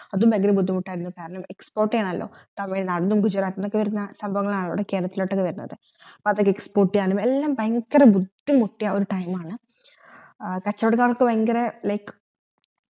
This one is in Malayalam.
അതും ഭയങ്കരം മുദ്ധിമുട്ടായിരുന്നു കാരണം export യാണല്ലോ തമിഴ് നാടന്നും ഗുജ്‌റാത്തിതുനുമൊക്കെ വരുന്ന സഭാവങ്ങളാണല്ലോ ഇവിടെ കേരളത്തിലോട്ടുക് വരുന്നത് അത് export യാനും എല്ലാം ഭയങ്കര ബുദ്ധിമുട്ടിയ ഒരു time ആണ് കച്ചോടക്കാർക് ഭയങ്കര like